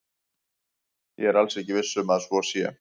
Ég er alls ekki viss um að svo sé.